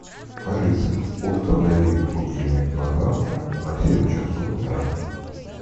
алиса установи будильник на завтра на семь часов утра